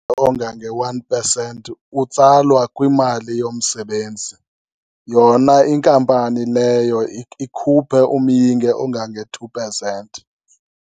Ongange-one percent utsalwa kwimali yomsebenzi, yona inkampani leyo ikhuphe umyinge ongange-two percent.